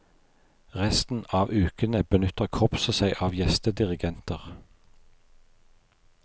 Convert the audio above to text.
Resten av ukene benytter korpset seg av gjestedirigenter.